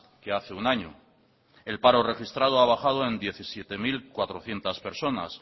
que hace un año el paro registrado ha bajado en diecisiete mil cuatrocientos personas